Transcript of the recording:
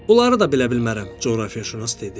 "Onları da bilə bilmərəm," coğrafiyaşünas dedi.